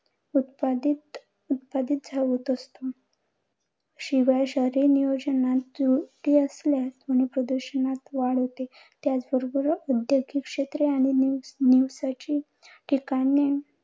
उत्पादित उत्पादित होत असते. शिवाय शहरी नियोजनात त्रुटी असल्याने ध्वनी प्रदूषणात वाढ होते. त्याचबरोबर औद्योगिक क्षेत्रे आणि निवासाची महत्वाची ठिकाणे